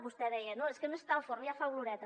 vostè deia no és que no està al forn ja fa oloreta